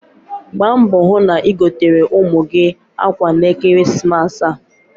Gbaa mbọ hụ na igotere ụmụ gị akwa n'ekeresimesi a.